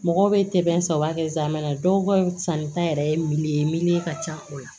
Mɔgɔw bɛ saba kɛ zamɛ dɔw ka sannita yɛrɛ ye ye ka ca o la